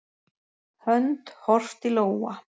Hönd, horft í lófa.